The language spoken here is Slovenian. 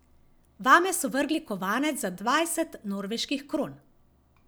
Vame so vrgli kovanec za dvajset norveških kron.